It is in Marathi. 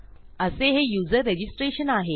असे हे युजर रजिस्ट्रेशन आहे